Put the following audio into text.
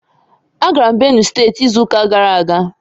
Agara m Benue steeti izu ụka gara aga